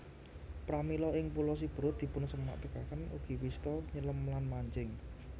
Pramila ing Pulo Siberut dipunsamektakaken ugi wista nyelem lan mancing